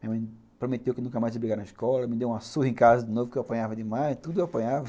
Minha mãe prometeu que nunca mais ia brigar na escola, me deu uma surra em casa de novo que eu apanhava demais, tudo eu apanhava.